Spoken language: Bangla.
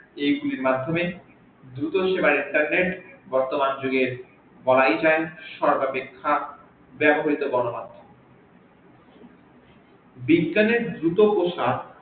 এই গুলির মাধ্যমে দ্রুত সেবায় internet বর্তমান জুগের গনমাধ্যমের সর্বাপেক্ষা বিজ্ঞানের দ্রুত প্রসার